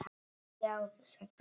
Sjáðu, sagði hann.